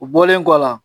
U bɔlen kɔ la